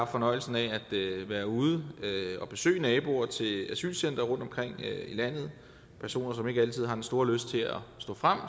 fornøjelsen af at være ude og besøge naboer til asylcentre rundtomkring i landet personer som ikke altid har den store lyst til at stå frem